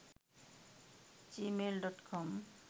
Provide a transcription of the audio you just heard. gmail.com